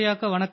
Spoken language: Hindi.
तमिल में जवाब